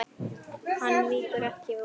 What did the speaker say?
Hann víkur ekki úr vegi.